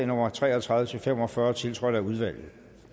nummer tre og tredive til fem og fyrre tiltrådt af udvalget